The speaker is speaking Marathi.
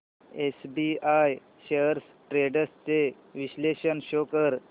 एसबीआय शेअर्स ट्रेंड्स चे विश्लेषण शो कर